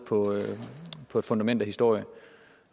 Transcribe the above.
på et fundament af historie